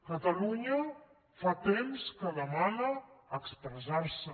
catalunya fa temps que demana expressarse